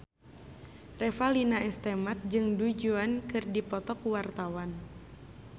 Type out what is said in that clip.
Revalina S. Temat jeung Du Juan keur dipoto ku wartawan